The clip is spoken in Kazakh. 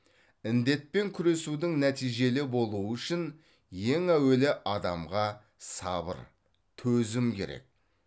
індетпен күресудің нәтижелі болуы үшін ең әуелі адамға сабыр төзім керек